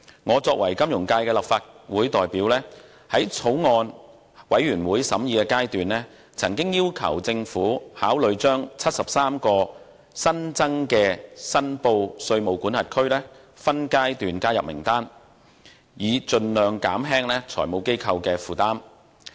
我作為金融界在立法會的代表，在法案委員會的審議階段，曾要求政府考慮將73個新增的申報稅務管轄區，分階段加入名單，以盡量減輕財務機構的負擔。